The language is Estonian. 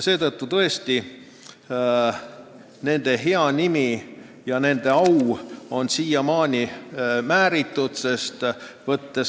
Vabadussõjalaste hea nimi ja nende au on siiamaani määritud.